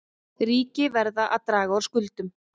Ríki verða að draga úr skuldum